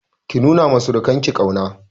Ki nuna ma surukan ki ƙauna!